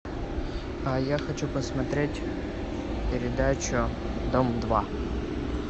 а я хочу посмотреть передачу дом два